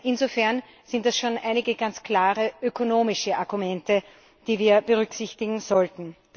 Insofern sind das schon einige ganz klare ökonomische Argumente, die wir berücksichtigen sollten.